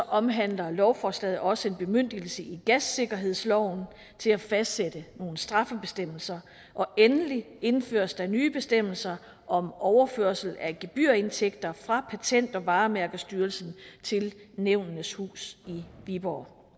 omhandler lovforslaget også en bemyndigelse i gassikkerhedsloven til at fastsætte nogle straffebestemmelser og endelig indføres der nye bestemmelser om overførsel af gebyrindtægter fra patent og varemærkestyrelsen til nævnenes hus i viborg